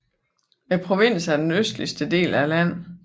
Provinsen er den østligste i landet